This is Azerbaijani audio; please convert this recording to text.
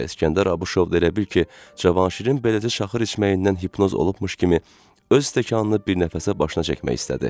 Və İsgəndər Abışov da elə bil ki, Cavanşirin beləcə çaxır içməyindən hipnoz olmuş kimi öz stəkanını bir nəfəsə başına çəkmək istədi.